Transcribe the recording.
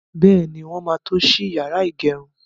Bẹ́ẹ̀ni, wọ́n máa tó ṣí yàrá ìgẹrun.